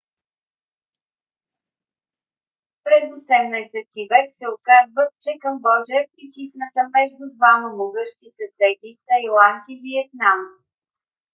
през 18 -ти век се оказва че камбоджа е притисната между двама могъщи съседи тайланд и виетнам